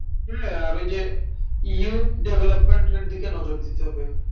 হ্যাঁ আর ওই যে youth development এর দিকে নজর দিতে হবে।